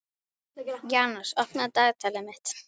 Janus, opnaðu dagatalið mitt.